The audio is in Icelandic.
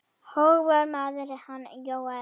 Hógvær maður, hann Jóel.